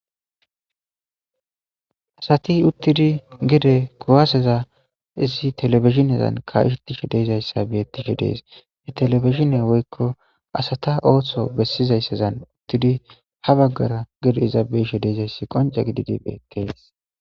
Asati uttidi geede kuwaseza issi telebbizhinezzan kaishe dishe deiizayssa bettishe dessi i telebizhine woykko asata oththo bessizayssazan uttidi ha baggara geede iiza beishe deiizayssi qoncce giididi bettes.